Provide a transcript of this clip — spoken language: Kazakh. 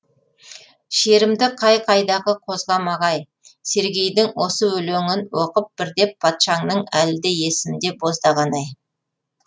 шерімді қай қайдағы қозғамағай сергейдің осы өлеңін оқып бірде патшаңның әлі де есімде боздағаны ай